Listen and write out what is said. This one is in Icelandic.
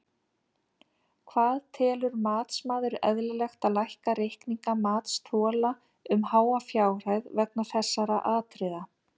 Hvað telur matsmaður eðlilegt að lækka reikninga matsþola um háa fjárhæð vegna þessara atriða?